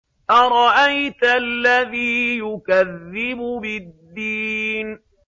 أَرَأَيْتَ الَّذِي يُكَذِّبُ بِالدِّينِ